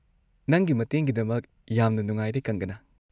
ꯅꯪꯒꯤ ꯃꯇꯦꯡꯒꯤꯗꯃꯛ ꯌꯥꯝꯅ ꯅꯨꯡꯉꯥꯏꯔꯦ, ꯀꯪꯒꯅꯥ꯫